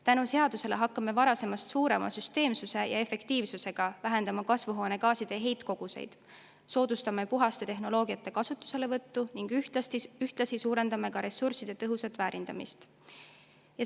Tänu seadusele hakkame varasemast suurema süsteemsuse ja efektiivsusega vähendama kasvuhoonegaaside heitkoguseid, soodustame puhaste tehnoloogiate kasutuselevõttu ning ühtlasi suurendame ressursside tõhusat väärindamist.